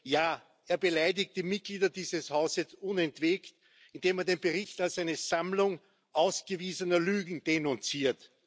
Ja, er beleidigt die Mitglieder dieses Hauses unentwegt, indem er den Bericht als eine Sammlung ausgewiesener Lügen denunziert.